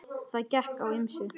Það gekk á ýmsu.